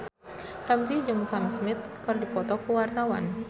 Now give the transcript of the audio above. Ramzy jeung Sam Smith keur dipoto ku wartawan